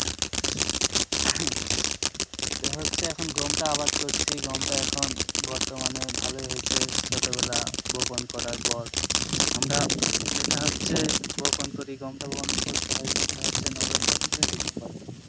তে হচ্ছে এখন গমটা আবাদ করছি গমটা এখন বর্তমানে ভালোই হয়েছে ছোটবেলা বপন করার পর আমরা এটা হচ্ছে বপন করি গমটা বপন করতে হয় কিন্তু হচ্ছে নভেম্বর থেকে ডিসেম্বরের মধ্যে।